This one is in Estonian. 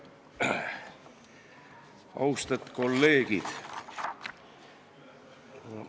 Austet kolleegid!